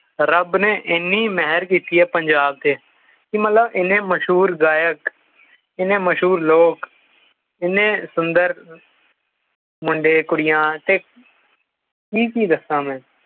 ਰੱਬ ਨੇ ਐਨੀ ਮਿਹਰ ਕੀਤੀ ਐ ਪੰਜਾਬ ਤੇ ਕੀ ਮਤਲਬ ਇੰਨੇ ਮਸ਼ਹੂਰ ਗਾਇਕ ਇੰਨੇ ਮਸ਼ਹੂਰ ਲੋਕ ਏਨੇ ਸੁੰਦਰ ਮੁੰਡੇ ਕੁੜੀਆਂ ਤੇ ਕੀ ਕੀ ਦਸਾਂ ਮੈਂ